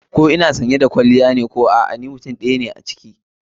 Ko ina sanye da kwalliya ko a'a ni mutum ɗaya ne a ciki.